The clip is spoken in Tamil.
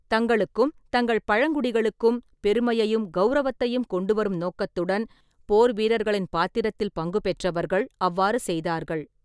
தங்களுக்கும் தங்கள் பழங்குடிகளுக்கும் பெருமையையும் கௌரவத்தையும் கொண்டுவரும் நோக்கத்துடன், போர்வீரர்களின் பாத்திரத்தில் பங்குபெற்றவர்கள் அவ்வாறு செய்தார்கள்.